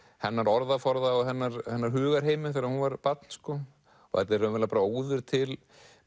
hennar orðaforða og hennar hennar hugarheimi þegar hún var barn þetta er raunverulega bara óður til